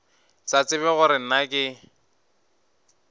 sa tsebe gore na ke